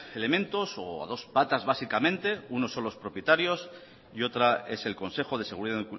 elementos o a dos patas básicamente uno son los propietarios y otra es el consejo de seguridad